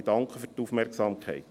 Ich danke für die Aufmerksamkeit.